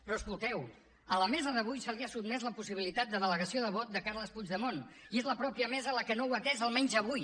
però escolteu a la mesa d’avui se li ha sotmès la possibilitat de delegació de vot de carles puigdemont i és la mateixa mesa la que no ho ha atès almenys avui